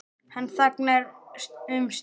Hann þagnar um stund.